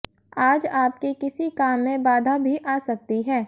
आज आपके किसी काम में बाधा भी आ सकती है